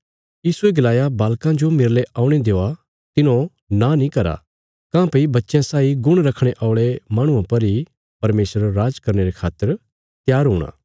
यीशुये गलाया बालकां जो मेरले औणे देआ तिन्हौं नां नीं करा काँह्भई बच्चयां साई गुण रखणे औल़े माहणुआं पर इ परमेशरा राज करने रे खातर त्यार हूणा